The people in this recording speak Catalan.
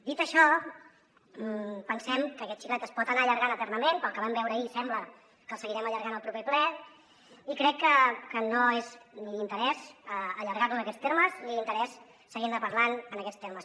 dit això pensem que aquest xiclet es pot anar allargant eternament pel que vam veure ahir sembla que el seguirem allargant al proper ple i crec que no és d’interès allargar lo en aquests termes ni d’interès seguir ne parlant en aquests termes